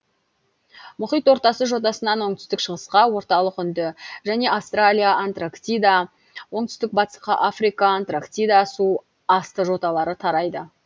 мұхит ортасы жотасынан оңтүстік шығысқа орталық үнді және австралия антарктида оңтүстік батысқа африка антарктида су асты жоталары тарайды